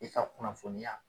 I ka kunnafoniya.